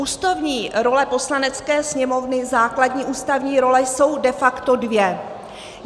Ústavní role Poslanecké sněmovny, základní ústavní role, jsou de facto dvě.